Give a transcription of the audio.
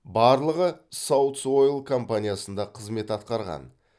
барлығы саутс ойл компаниясында қызмет атқарған